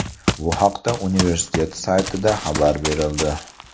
Bu haqda universtitet saytida xabar berildi .